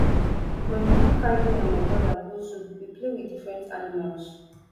my mama carry me and my broda go zoo we play with different animals